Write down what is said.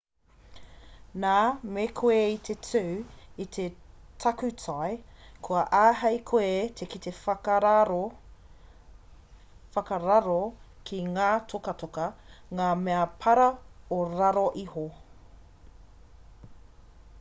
nā me koe i te tū i te takutai kua āhei koe te kite whakararo ki ngā tokatoka ngā mea para o raro iho